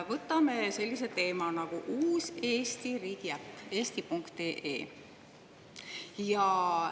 Võtame sellise teema nagu uus Eesti riigiäpp eesti.ee.